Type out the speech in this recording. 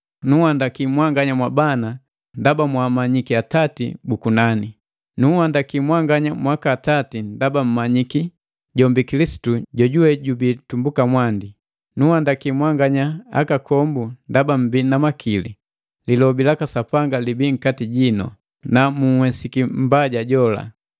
Nunhandaki mwanganya mwabana ndaba mwaamanyiki Atati bu kunani. Nunhandaki mwanganya mwaka atati ndaba mummanyiki jombi Kilisitu jojuwe jubii tumbuka mwandi. Nunhandaki mwanganya akakombu ndaba mmbii na makili; lilobi laka Sapanga libii nkati jinu, na munhwesiki mbaja jola.